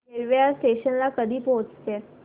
railway या station ला कधी पोहचते